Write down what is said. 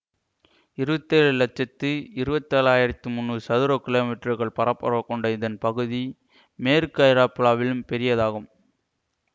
இருபத்தி ஏழு லட்சத்தி இருபத்தேழாயிரத்து முன்னூறு சதுர கிலோமீற்றர்கள் பரப்பரவு கொண்ட இதன் பகுதி மேற்கு ஐரோப்லாவிலும் பெரியதாகும்